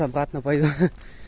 обратно пойду